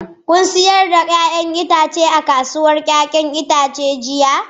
Kun sayar da 'ya'yan itatuwanku a kasuwar 'ya'yan itace jiya?